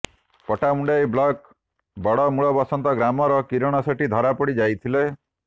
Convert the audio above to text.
Pattamundai block Badamulabasanta ଗ୍ରାମର କିରଣ ସେଠୀ ଧରା ପଡ଼ି ଯାଇଥିଲେ